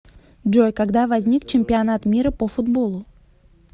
джой когда возник чемпионат мира по футболу